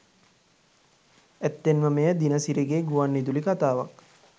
ඇත්තෙන්ම මෙය දිනසිරිගේ ගුවන්විදුලි කතාවක්